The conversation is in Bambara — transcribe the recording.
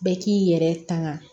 Bɛɛ k'i yɛrɛ tanga